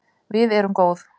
Við erum góð